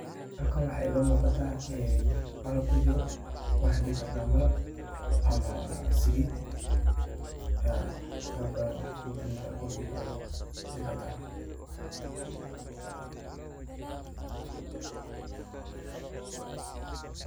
Halkan waxa iga muqatah ee qalab kujiroh waxa dehi karnah malab amah salit ee waxyaba bathan oo futhuut oo lagarin kartah